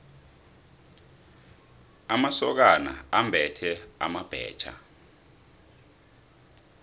amasokana ambethe amabhetjha